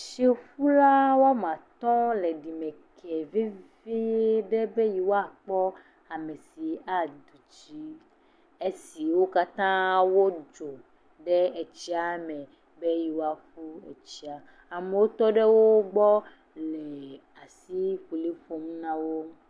Tsiƒula woame atɔ̃ le ɖimeke vevieɖe be yewoa kpɔ amesi aɖudzi, esi wo katã wodzo ɖe etsiame be yewoa ƒu etsia. Amewo kɔɖe wogbɔ le asikpoli ƒom nawo.